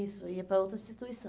Isso, ia para outra instituição.